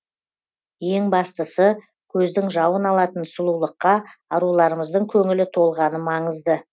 ең бастысы көздің жауын алатын сұлулыққа аруларымыздың көңілі толғаны маңызды